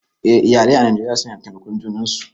Eh, iyalai a Najeriya suna taimakar junan su